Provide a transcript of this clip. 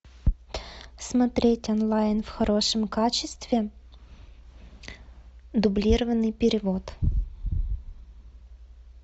смотреть онлайн в хорошем качестве дублированный перевод